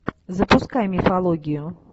запускай мифологию